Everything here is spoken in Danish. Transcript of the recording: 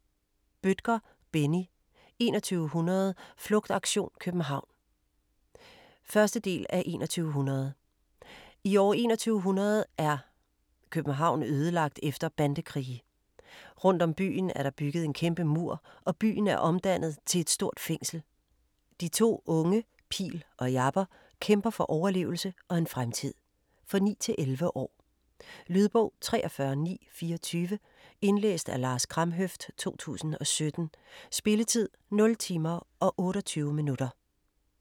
Bødker, Benni: 2100 - flugtaktion CPH 1. del af 2100. I år 2100 er København ødelagt efter bandekrige. Rundt om byen er der bygget en kæmpe mur og byen er omdannet til et stort fængsel. De to unge Pil og Jabber kæmper for overlevelse og en fremtid. For 9-11 år. Lydbog 43924 Indlæst af Lars Kramhøft, 2017. Spilletid: 0 timer, 28 minutter.